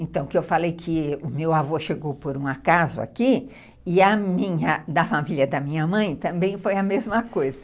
Então, que eu falei que o meu avô chegou por um acaso aqui, e a minha, da família da minha mãe, também foi a mesma coisa.